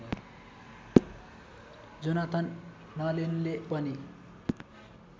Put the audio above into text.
Jonathan नलेनले पनि